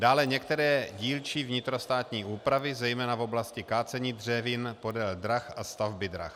Dále některé dílčí vnitrostátní úpravy, zejména v oblasti kácení dřevin podél drah a stavby drah.